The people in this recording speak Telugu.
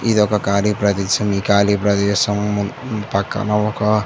ఇది ఒక ఖాళీ ప్రదేశం ఈ ఖాళీ ప్రదేశం ఈ ఖాళీ ప్రదేశం మ్ ఒక--